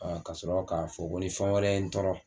ka sɔrɔ k'a fɔ ko ni fɛn wɛrɛ ye n tɔɔrɔ